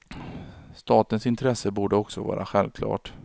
Statens intresse borde också vara självklart.